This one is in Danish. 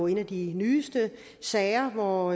en af de nyeste sager hvor